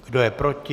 Kdo je proti?